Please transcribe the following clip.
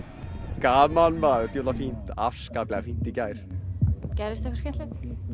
gaman maður djöfull var fínt afskaplega fínt í gær gerðist eitthvað skemmtilegt